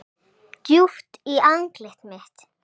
Djúpt í andlit mitt.